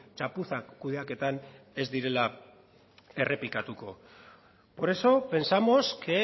txapuzak kudeaketan ez direla errepikatuko por eso pensamos que